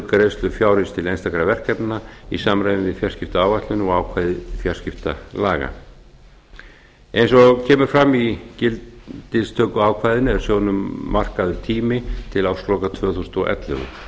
greiðslu fjárins til einstakra verkefna í samræmi við fjarskiptaáætlun og ákvæði fjarskiptalaga eins og kemur fram í gildistökuákvæðinu er sjóðnum markaður tími til ársloka tvö þúsund og ellefu